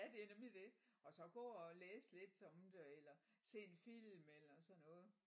Ja det er nemlig det og så gå og læse lidt om det eller se en film eller sådan noget